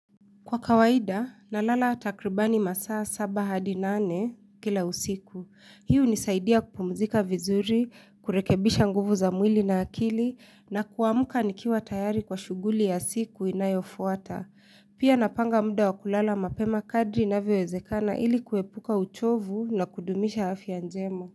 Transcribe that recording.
Kwa kawaida, nalala takribani masaa saba hadi nane kila usiku. Hii hunisaidia kupumzika vizuri, kurekebisha nguvu za mwili na akili, na kuamka nikiwa tayari kwa shuguli ya siku inayofuata. Pia napanga muda wa kulala mapema kadri inavyowezekana ili kuepuka uchovu na kudumisha afya njema.